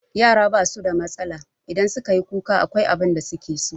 Yara ba su da matsala, in su ka yi kuka akwai abin da su ke so.